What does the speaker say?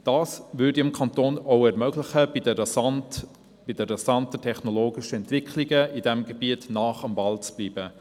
Das ermöglicht es unserem Kanton, bei den rasanten technologischen Entwicklungen auf diesem Gebiet nahe am Ball zu bleiben.